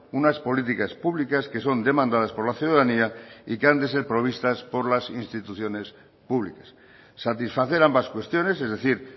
unas políticas públicas que son demandadas por la ciudadanía y que han de ser provistas por las instituciones públicas satisfacer ambas cuestiones es decir